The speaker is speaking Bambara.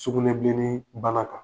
Sugunɛbilennii bana kan.